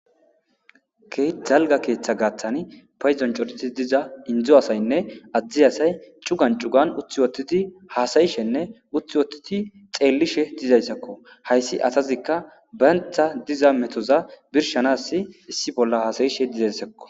key d atalga keeththa gaaththani payzon coreti diza indzo asaynne addi asay cugan cugan uthi wottiti haasayishenne uthi wottiti xeellishe dizayssakko hayssi asazikka bantha diza metoza birshanas issi bolla haasayishe dizayssakko